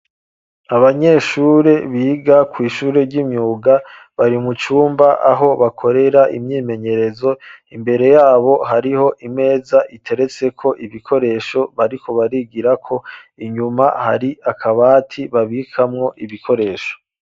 Abanyeshure biga kw'ishure ry'imyuga bari mucumba aho bakorera imyimenyerezo imbere yabo hariho imeza iteretse ko ibikoresho bariko barigira ko inyuma hari akabati babikamwo ibikoresho.